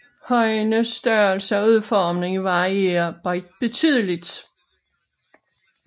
Højenes størrelse og udformning varierer betydeligt